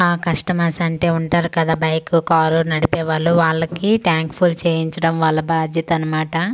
ఆ కస్టమర్స్ అంటే ఉంటారు కదా బైక్ కార్ నడిపే వాళ్ళు వాళ్ళకి టాంక్ ఫుల్ చేయించడం వాళ్ళ బాధ్యత అనామాట .]